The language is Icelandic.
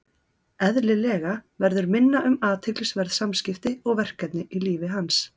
Eðlilega verður minna um athyglisverð samskipti og verkefni í lífi hans.